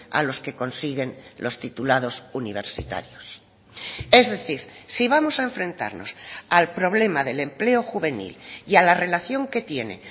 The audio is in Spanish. a los que consiguen los titulados universitarios es decir si vamos a enfrentarnos al problema del empleo juvenil y a la relación que tiene